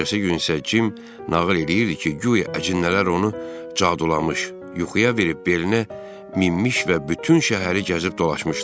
Ertəsi gün isə Cim nağıl eləyirdi ki, guya əcinələr onu cadulamış, yuxuya verib belinə minmiş və bütün şəhəri gəzib dolaşmışlar.